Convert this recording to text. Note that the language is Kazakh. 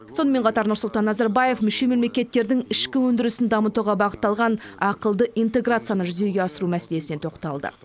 сонымен қатар нұрсұлтан назарбаев мүше мемлекеттердің ішкі өндірісін дамытуға бағытталған ақылды интеграцияны жүзеге асыру мәселесіне тоқталды